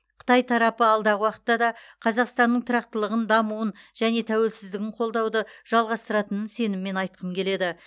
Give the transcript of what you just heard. қытай тарапы алдағы уақытта да қазақстанның тұрақтылығын дамуын және тәуелсіздігін қолдауды жалғастыратынын сеніммен айтқым келеді